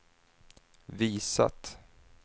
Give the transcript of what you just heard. visat